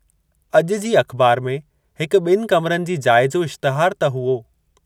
अॼु जी अख़बार में हिकु ॿिनि कमरनि जी जाइ जो इश्तिहार त हुओ।